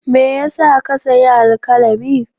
Me ya sa ka sayi alkalami?